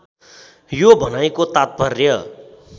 यो भनाइको तात्पर्य